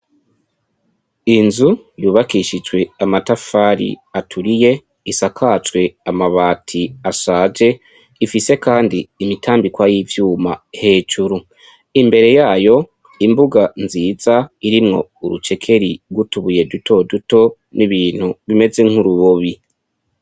Inzu yubakishijwe amatafari aturiye isakacwe amabati ashaje ifise, kandi imitambikwa y'ivyuma hejuru imbere yayo imbuga nziza irimwo urucekeri rwutubuye dutoduto n'ibintu bimeze nk'urubobi.